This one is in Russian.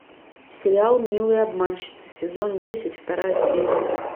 сериал милые обманщицы сезон десять вторая серия